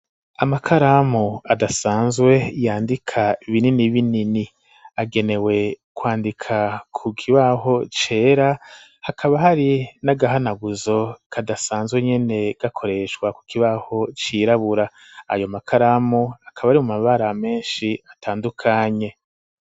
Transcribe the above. Amakaramu adasanzwe yandika binini binini agenewe kwandika ku kibaho cera hakaba hari n'agahanaguzo kadasanzwe nyene gakoreshwa ku kibaho cirabura ayo makaramu akaba ari mumabara menshi atandukanye.